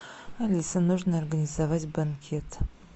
алиса нужно организовать банкет